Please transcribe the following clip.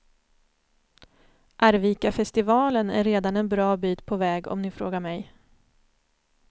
Arvikafestivalen är redan en bra bit på väg, om ni frågar mig.